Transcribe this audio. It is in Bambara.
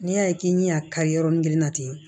N'i y'a ye k'i ɲɛ y'a kari yɔrɔnin kelen na ten